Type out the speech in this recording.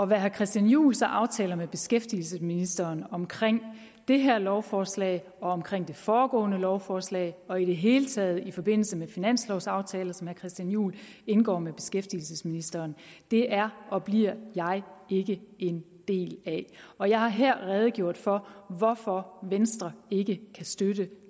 hvad herre christian juhl så aftaler med beskæftigelsesministeren om det her lovforslag og om det foregående lovforslag og i det hele taget i forbindelse med finanslovaftaler som herre christian juhl indgår med beskæftigelsesministeren er og bliver jeg ikke en del af og jeg har her redegjort for hvorfor venstre ikke kan støtte